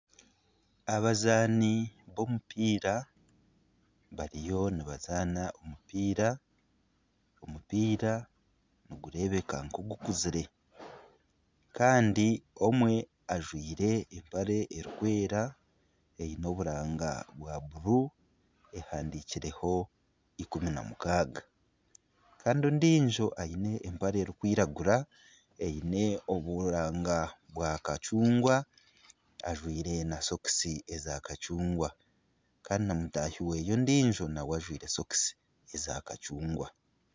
Abazaani b'omupiira bariyo nibazaana omupiira. Omupiira nigureebeka nk'ogukuzire. Kandi omwe ajwaire empare erikwera eine oburanga bwa bururu ehandikireho ikumi na mukaaga. Kandi ondiijo aine empare erikwiragura eine oburanga bwa kacungwa, ajwaire na sokisi eza kacungwa kandi na mutaahi we ondiijo nawe ajwaire sokisi eza kacungwa.